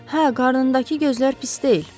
Hə, qarnındakı gözlər pis deyil.